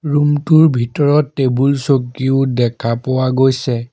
Room টোৰ ভিতৰত টেবুল চকীও দেখা পোৱা গৈছে।